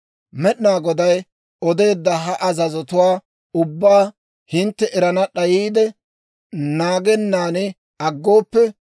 « ‹Med'inaa Goday odeedda ha azazotuwaa ubbaa hintte erana d'ayiide, naagennan aggooppe,